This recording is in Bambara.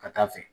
Ka taa fɛ